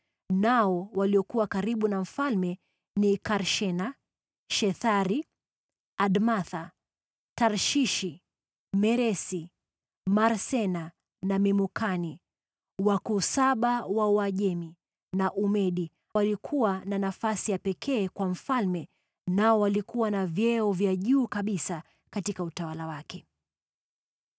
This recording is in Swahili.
nao waliokuwa karibu na mfalme ni Karshena, Shethari, Admatha, Tarshishi, Meresi, Marsena na Memukani, wakuu saba wa Uajemi na Umedi waliokuwa na nafasi ya pekee kwa mfalme nao walikuwa na vyeo vya juu kabisa katika utawala wake.